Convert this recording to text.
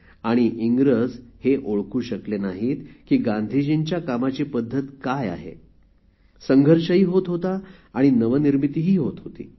आणि इंग्रज हे ओळखू शकले नाहीत की गांधीजींच्या कामाची पद्धत काय आहे संघर्षही होत होता आणि नवनिर्मितीही होत होती